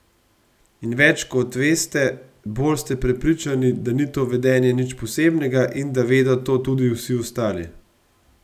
In več kot veste, bolj ste prepričani, da ni to vedenje nič posebnega in da vedo to tudi vsi ostali.